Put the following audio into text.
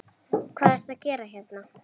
Hvað ertu að gera hérna?